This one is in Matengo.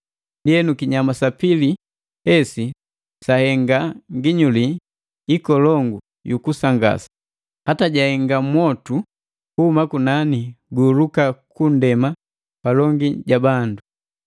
Ndienu, kinyama sa pili hesi sahenga nginyuli ikolongu yukusangasa, hata jaahenga mwotu kuhuma kunani ku guhuluka ku nndema palongi ja bandu.